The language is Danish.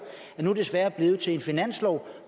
er nu desværre blevet til en finanslov